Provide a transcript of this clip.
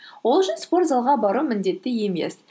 ол үшін спортзалға бару міндетті емес